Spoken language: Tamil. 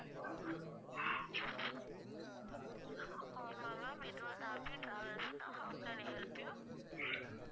ஆமா ma'am இது abi travels தான் how can i help you